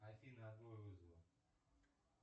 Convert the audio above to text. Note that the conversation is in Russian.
афина отбой вызова